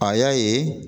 A y'a ye